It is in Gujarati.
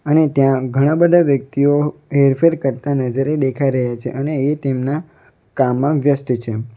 અને ત્યાં ઘણા બધા વ્યક્તિઓ હેરફેર કરતા નજરે દેખાઈ રહ્યા છે અને એ તેમના કામમાં વ્યસ્ત છે.